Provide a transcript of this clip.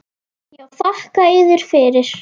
Já, þakka yður fyrir.